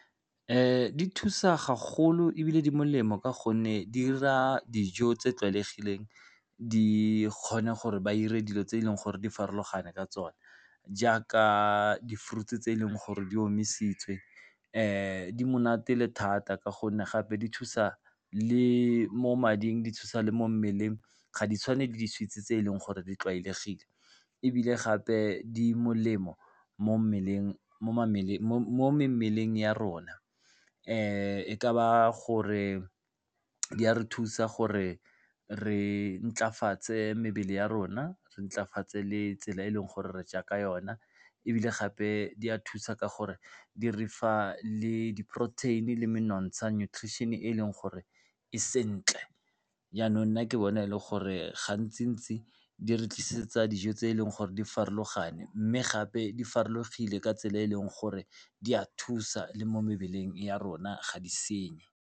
Di thusa gagolo ebile di molemo ka gonne di 'ira dijo tse tlwaelegileng, di kgona gore ba 'ire dilo tse e leng gore di farologane ka tsone jaaka di-fruits-e tse e leng gore di omisitswe. Di monate e le thata ka gonne gape di thusa le mo mading, di thusa le mo mmeleng, ga di tshwane le di-sweets-e tse e leng gore di tlwaelegile, ebile gape di molemo mo mmeleng ya rona. E ka ba gore di a re thusa gore re ntlafatse mebele ya rona, re ntlafatsa le tsela e leng gore re ja ka yona ebile gape di a thusa ka gore di re fa le diporoteini le menontsha, nutrition-e e leng gore e sentle. Jaanong nna ke bona e le gore gantsi-ntsi di re tlisetsa dijo tse e leng gore di farologane, mme gape di farologile ka tsela e e leng gore di a thusa le mo mebeleng ya rona ga di senye.